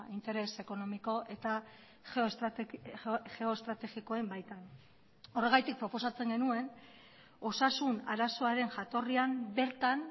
interes ekonomiko eta geoestrategikoen baitan horregatik proposatzen genuen osasun arazoaren jatorrian bertan